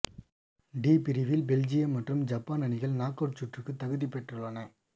D பிரிவில் Belgium மற்றும் Japan அணிகள் நாக் அவுட் சுற்றுக்கு தகுதி பெற்றுள்ளன